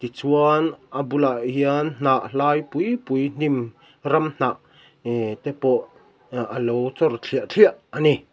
chuan a bulah hian hnah hlai pui pui hnim ram hnah ee te pawh a a lo chawr thliah thliah a ni.